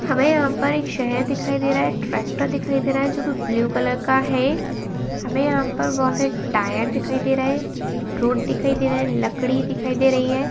हमें यहाँ पर एक शहर दिखाई दे रहा है ट्रेक्टर दिखाई दे रहा है जो के ब्लु कलर का है हमे यहाँ पर बहोत सारी टायर दिखाई दे रहे हैं रोड दिखाई दे रहा है लकड़ी दिखाई दे रही है।